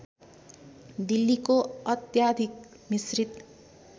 दिल्लीको अत्याधिक मिश्रित